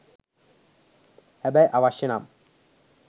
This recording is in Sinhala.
හැබැයි අවශ්‍ය නම්